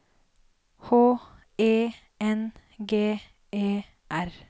H E N G E R